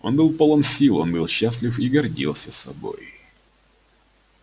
он был полон сил он был счастлив и гордился собой